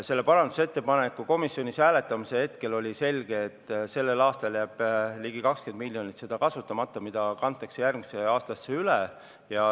Selle parandusettepaneku komisjonis hääletamise hetkel oli selge, et sellel aastal jääb ligi 20 miljonit kasutamata seda raha, mis kantakse järgmisesse aastasse üle.